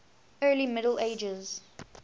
early middle ages